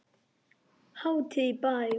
Hátíð í bæ